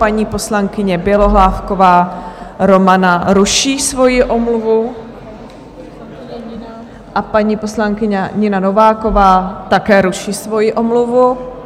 Paní poslankyně Bělohlávková Romana ruší svoji omluvu a paní poslankyně Nina Nováková také ruší svoji omluvu.